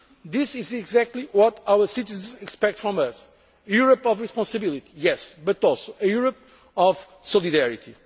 Union. This is exactly what our citizens expect from us a Europe of responsibility, yes, but also a Europe